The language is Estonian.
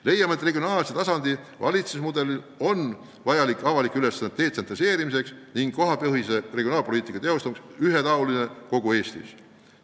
Leiame, et regionaalse tasandi valitsusmudel on vajalik avalike ülesannete detsentraliseerimiseks ning kohapõhise regionaalpoliitika teostamiseks ühetaolisena kogu Eestis.